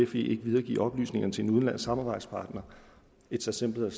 fe ikke videregive oplysningerne til en udenlandsk samarbejdspartner its as simple